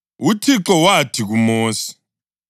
UThixo wathi kuMosi,